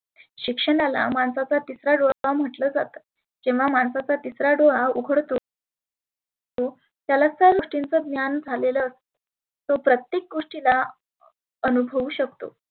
शिक्षणाला माणसाचा तिसरा डोळा म्हटलं जातं. जेव्हा माणसाचा तिसरा डोळा उघडतो त्याला सर्व गोष्टींच ज्ञान झालेलं असतं. तो प्रत्येक गोष्टीला अनुभवु शकतो.